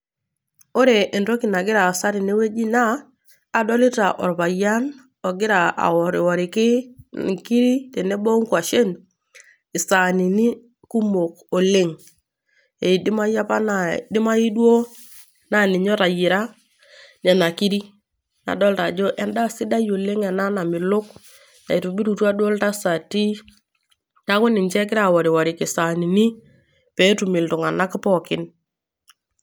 Ore entoki nagira aasa tenewueji naa adolita orpayian ogira aoriworiki inkiri tenebo onkwashen isanini kumok oleng ,edimayu apa naa , edimayu duoo naa ninye otayiera nena kiri. Adolita ajo endaa ena sidai namelok , naitobirutua duoo iltasati niaku ninche egira ooriworiki isanini petum iltunganak pookin.